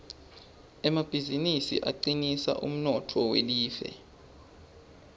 emabizinisi acinisa umnotfo welive